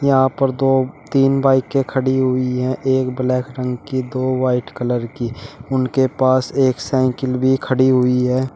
यहां पर दो तीन बाईकें खड़ी हुई है एक ब्लैक रंग की दो व्हाइट कलर की उनके पास एक साइकिल भी खड़ी हुई है।